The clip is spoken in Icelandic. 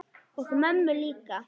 Og mömmu líka.